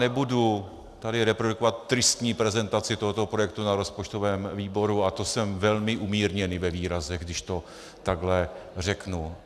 Nebudu tady reprodukovat tristní prezentaci tohoto projektu na rozpočtovém výboru, a to jsem velmi umírněný ve výrazech, když to takhle řeknu.